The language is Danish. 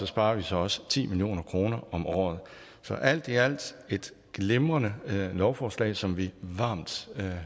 sparer vi så også ti million kroner om året så alt i alt et glimrende lovforslag som vi varmt